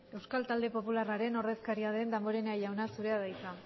euskal talde popularraren ordezkaria den damborenea jauna hitza